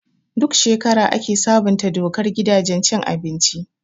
Duk shekara ake sabunta dokar gidajen cin abinci.